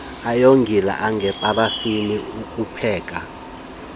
ayingozi anjengeparafini ukupheka